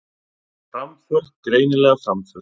Framför, greinileg framför